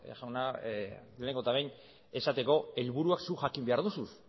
jauna lehenengo eta behin esateko helburuak zuk jakin behar duzu